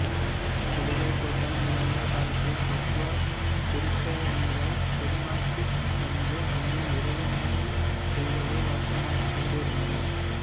சிலுவைப் போர்கள் நிகழ்ந்த காலத்தில் கிறித்தவ திருப்பயணிகள் திருநாட்டுக்குச் சென்று அங்கு இறைவேண்டல் செய்வதை வழக்கமாகக் கொண்டிருந்தனர்